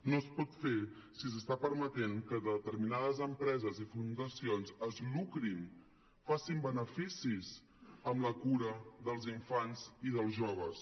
no es pot fer si s’està permetent que determinades empreses i fundacions es lucrin facin beneficis amb la cura dels infants i dels joves